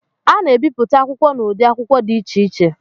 A na-ebipụta akwụkwọ n'ụdị akwụkwọ dị iche iche